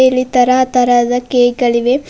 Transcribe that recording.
ಇಲ್ಲಿ ತರಹ ತರಹದ ಕೇಕ್ ಗಳಿವೆ.